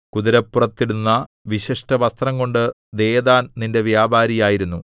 കുതിരപ്പുറത്തിടുന്ന വിശിഷ്ടവസ്ത്രംകൊണ്ട് ദെദാൻ നിന്റെ വ്യാപാരിയായിരുന്നു